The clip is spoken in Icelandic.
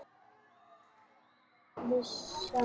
Hendur hennar skjálfa.